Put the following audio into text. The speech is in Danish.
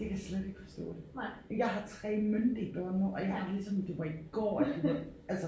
Det kan jeg slet ikke forstå. Jeg har 3 myndige børn nu og jeg har det lidt sådan det var i går at I var altså